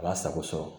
A b'a sago sɔrɔ